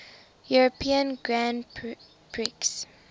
european grand prix